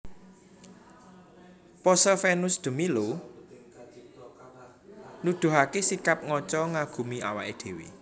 Pose Venus de Milo nuduhaké sikap ngaca ngagumi awaké dhéwé